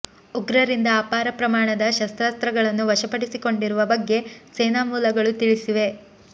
ಉಗ್ರರಿಂದ ಅಪಾರ ಪ್ರಮಾಣದ ಶಸ್ತ್ರಾಸ್ತ್ರಗಳನ್ನು ವಶಪಡಿಸಿಕೊಂಡಿರುವ ಬಗ್ಗೆ ಸೇನಾ ಮೂಲಗಳು ತಿಳಿಸಿವೆ